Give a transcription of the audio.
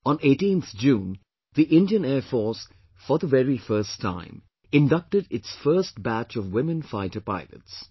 On 18th June, the Indian Air Force for the very first time inducted its first batch of women fighter pilots